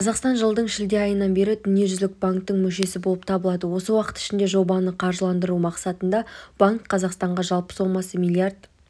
қазақстан жылдың шілде айынан бері дүниежүзілік банктің мүшесі болып табылады осы уақыт ішінде жобаны қаржыландыру мақсатында банк қазақстанға жалпы сомасы млрд